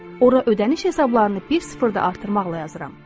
Ora ödəniş hesablarını bir sıfır da artırmaqla yazıram.